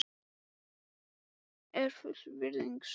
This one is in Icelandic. Er fullyrðingin sönn?